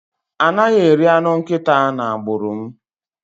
A naghi eri anụ nkịta n'agbụrụ m